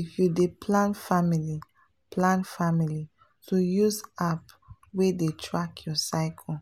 if you dey plan family plan family to use app wey dey track your cycle